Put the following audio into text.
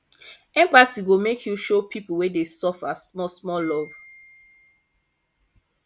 empathy go make you show pipu wey dey suffer smallsmall love